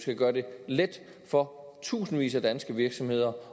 skal gøre det let for tusindvis af danske virksomheder